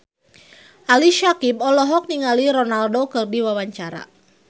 Ali Syakieb olohok ningali Ronaldo keur diwawancara